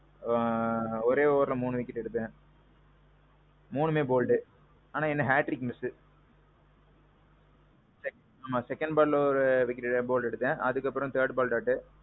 ஆ. ஒரே overல மூணு wicket எடுத்தேன். மூணுமே bold. ஆனான் என்ன hat trick miss. நான் second ballஎ ஒரு wicket, bold எடுத்தேன். அதுக்கு அப்பறோம் third ball dot.